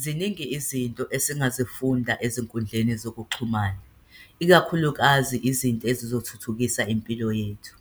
Ziningi izinto esingazifunda ezinkundleni zokuxhumana, ikakhulukazi izinto ezizothuthukisa impilo yethu.